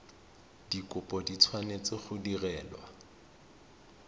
dikopo di tshwanetse go direlwa